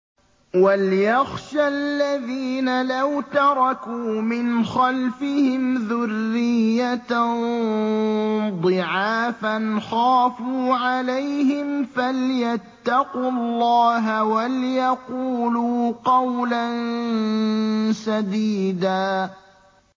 وَلْيَخْشَ الَّذِينَ لَوْ تَرَكُوا مِنْ خَلْفِهِمْ ذُرِّيَّةً ضِعَافًا خَافُوا عَلَيْهِمْ فَلْيَتَّقُوا اللَّهَ وَلْيَقُولُوا قَوْلًا سَدِيدًا